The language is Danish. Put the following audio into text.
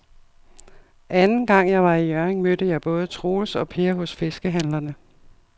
Anden gang jeg var i Hjørring, mødte jeg både Troels og Per hos fiskehandlerne.